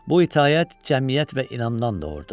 Bu itaət cəmiyyət və inamdan doğurdu.